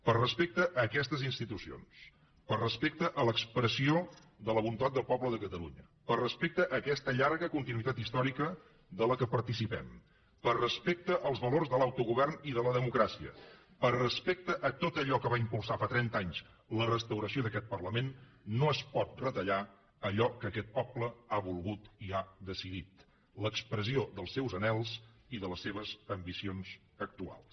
per respecte a aquestes institucions per respecte a l’expressió de la voluntat del poble de catalunya per respecte a aquesta llarga continuïtat històrica de la qual participem per respecte als valors de l’autogovern i de la democràcia per respecte a tot allò que va impulsar fa trenta anys la restauració d’aquest parlament no es pot retallar allò que aquest poble ha volgut i ha decidit l’expressió dels seus anhels i de les seves ambicions actuals